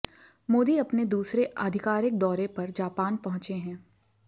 मोदी अपने दूसरे आधिकारिक दौरे पर जापान पहुंचे हैं